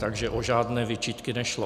Takže o žádné výčitky nešlo.